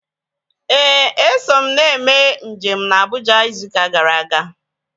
Éè, eso m nne mee njem na Abuja ịzụ ụka gara aga